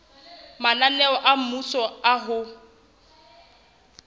mananeo a mmuso a ho